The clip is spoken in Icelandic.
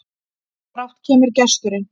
Brátt kemur gesturinn,